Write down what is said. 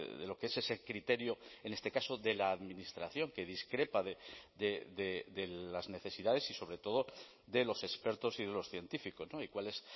de lo que es ese criterio en este caso de la administración que discrepa de las necesidades y sobre todo de los expertos y de los científicos y cuál es